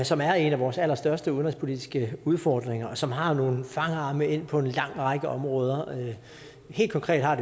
som er en af vores allerstørste udenrigspolitiske udfordringer og som har nogle fangarme ind på en lang række områder helt konkret har